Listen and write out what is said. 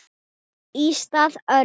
Í stað Öldu